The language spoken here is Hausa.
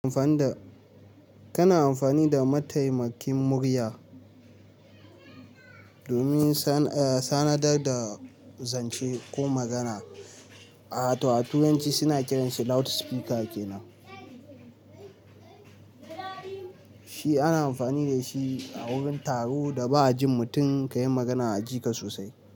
Amfani da, kana amfani da mataimakin murya domin sanadar da zance ko magana. A turanci suna kiranshi loudspeaker kenan. Shi ana amfani da shi a wurin taro da ba jin mutum ka yi magana a ji ka sosai.